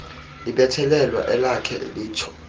libethelelwa alakhe litsho